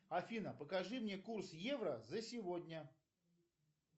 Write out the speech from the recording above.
афина покажи мне курс евро за сегодня